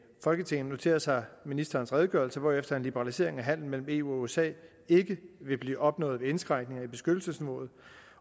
folketinget noterer sig ministerens redegørelse hvorefter liberalisering af handelen mellem eu og usa ikke vil blive opnået ved indskrænkninger i beskyttelsesniveauet